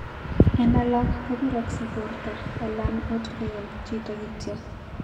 En alak kopirogse porto alan ot koyam chito kityok.